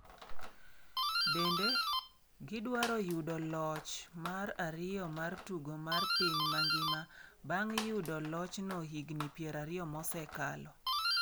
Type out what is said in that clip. Bende, gidwaro yudo loch mar ariyo mar tugo mar piny mangima bang’ yudo lochno higni 20 mosekalo.